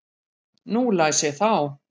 Nú las ég þá.